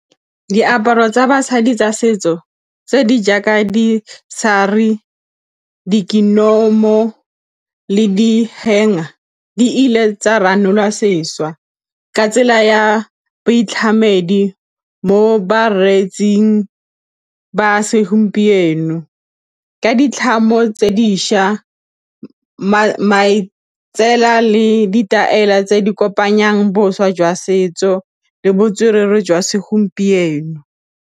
Diaparo tsa basadi tsa setso tse di jaaka di di ile tsa ranolwa sešwa ka tsela ya boitlhamedi mo bareetsing ba segompieno ka ditlhamo tse dišwa matsela le ditaele tse di kopanyang boswa jwa setso le botswerere jwa segompieno.